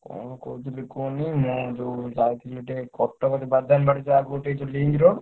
କଣ କହୁଥିଲି କୁହନି ମୁଁ ଯୋଉ ଯାଉଥିଲି ଟିକେ କ ଟକର ବାଦାମବାଡି ତା ଆଗୁକୁ ଟିକେ ଅଛି link road।